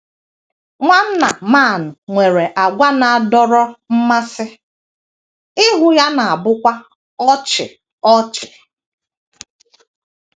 Nwanna Mann nwere àgwà na - adọrọ mmasị, ihu ya na - abụkwa ọchị ọchị.